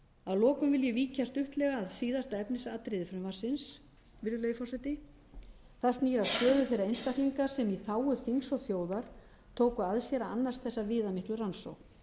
að lokum vil ég víkja stuttlega að síðasta efnisatriði frumvarpsins virðulegi forseti það snýr að stöðu þeirra einstaklinga sem í þágu þings og þjóðar tóku að sér að annast þessa viðamiklu rannsókn